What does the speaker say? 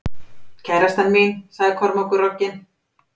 Kærastan mín, sagði Kormákur rogginn.